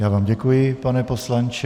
Já vám děkuji, pane poslanče.